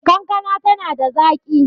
kankana tana da zaki